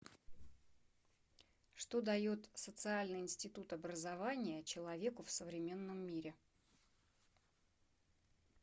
что дает социальный институт образования человеку в современном мире